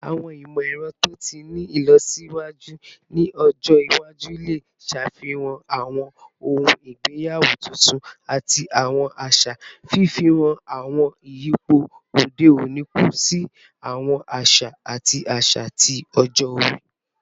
Awọn imọ-ẹrọ to ti ni ilọsiwaju ni ọjọ iwaju le ṣafihan awọn ohun igbeyawo tuntun ati awọn aṣa, fifi awọn iyipo ode oni kun si awọn aṣa ati aṣa ti ọjọ-ori